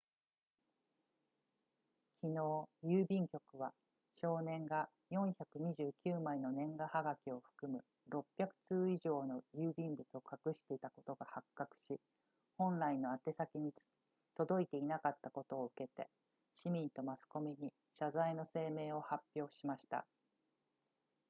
昨日郵便局は少年が429枚の年賀はがきを含む600通以上の郵便物を隠していたことが発覚し本来の宛先に届いていなかったことを受けて市民とマスコミに謝罪の声明を発表しました